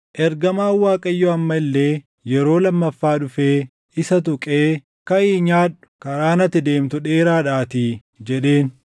Ergamaan Waaqayyoo amma illee yeroo lammaffaa dhufee isa tuqee, “Kaʼii nyaadhu; karaan ati deemtu dheeraadhaatii” jedheen.